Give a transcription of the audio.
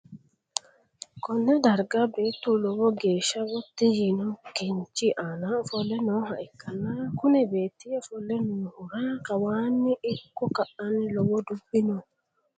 konne darga beettu lowo geehsha gotti yiino kinchi aana ofolle nooha ikkanna, kuni beetti ofolle noohura kawaanni ikko ka'aanni lowo dubbi no.